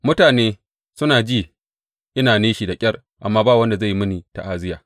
Mutane suna ji ina nishi da ƙyar, amma ba wanda zai yi mini ta’aziyya.